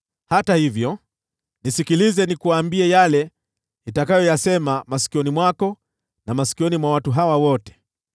Hata hivyo, nisikilize nikuambie yale nitakayoyasema masikioni mwako na masikioni mwa watu hawa wote: